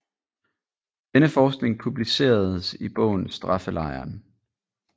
Denne forskning publiceredes i bogen Straffelejren